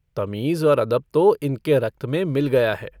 तमीज़ और अदब तो इनके रक्त में मिल गया है।